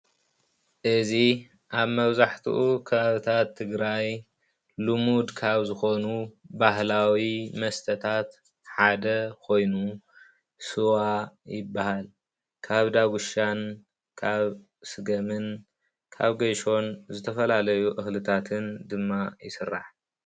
እዚ አብ መብዛሕቲኡ ከባብታት ትግራይ ሉሙድ ካብ ዝኮኑ ባህላዊ መስተታት ሓደ ኮይኑ ስዋ ይበሃል። ካብ ዳጉሻን ፤ ካብ ስገምን ፤ካብ ገሾን ዝተፈላለዩ እክልታትን ድማ ይስራሕ፡፡